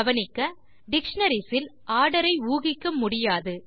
கவனிக்க டிக்ஷனரிஸ் களில் ஆர்டர் ஐ ஊகிக்க முடியாது